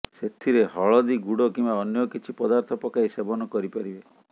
ସେଥିରେ ହଳଦୀ ଗୁଡ କିମ୍ବା ଅନ୍ୟ କିଛି ପଦାର୍ଥ ପକାଇ ସେବନ କରିପାରିବେ